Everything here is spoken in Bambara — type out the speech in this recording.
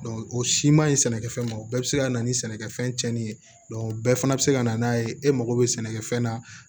o siman ɲi sɛnɛkɛfɛn ma o bɛɛ bɛ se ka na ni sɛnɛkɛfɛn cɛnni ye o bɛɛ fana bɛ se ka na n'a ye e mago bɛ sɛnɛkɛfɛn na